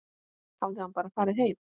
Hafði hann bara farið heim?